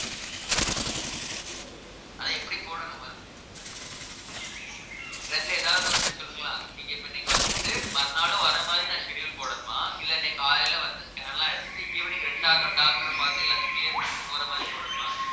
அதை எப்படி போடணும் ma'am ரெண்டுல எதாவது ஒண்ணு சொல்லுங்களேன் நீங்க இப்ப இன்னைக்கு வந்துட்டு மறுநாளும் வர மாதிரி நான் schedule போடணுமா இல்லை இன்னைக்கு காலையில வந்து scan எல்லாம் எடுத்துட்டு evening இரண்டாவது doctor பார்த்து எல்லாத்தையும் clear பண்ணிட்டு போற மாதிரி போடணுமா